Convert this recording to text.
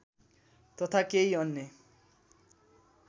तथा केही अन्य